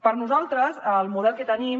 per nosaltres el model que tenim